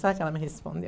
Sabe o que ela me